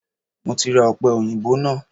Mo ti ra ọ̀pẹòyìnbó náà